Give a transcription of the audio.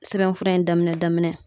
Sɛbɛnfura in daminɛ daminɛ